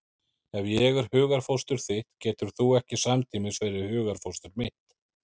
Ef ég er hugarfóstur þitt getur þú ekki samtímis verið hugarfóstur mitt.